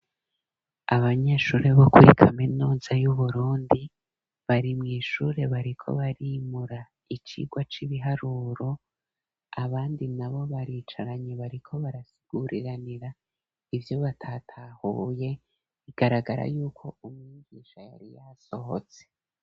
Abanyeshuri bo kuri kaminuza yu Burundi bari muishure bariko barimura icirwa c'ibiharuro abandi na bo baricaranye bariko barasiguriranira ibyo batatahuye igaragara yuko umwigisha yari yasohotse.